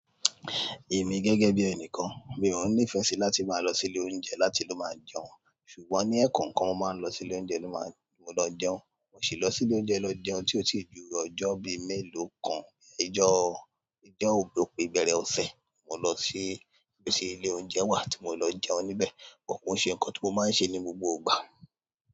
Èmi gẹ́gẹ́ bí ẹni kan, mi ò ní ìfẹ́ sí láti máa lọ sí ilé oúnjẹ láti ló máa jẹun ṣùgbọ́n ní ẹ̀kookan mo máa ń lọ sí ilé oúnjẹ ló máa mo lọ jẹun. Mo sì lọ sí ilé oúnjẹ lọ jẹun tí ó ti ju ọjọ́ bí mẹ́lòó kan ijọ́, ijọ́ ò pp ibẹ̀rẹ̀ ọ̀sẹ̀, mo lọ ṣi ibi tí ilé oúnjẹ wà tí mo lọ jẹun níbẹ̀. Kò ṣe nǹkan tí mo máa ń ṣe ní gbogbo ìgbà.